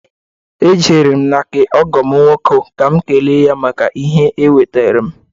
E jere m na nke ọgọ m nwoke ka m kelee ya maka ihe o wetaara m.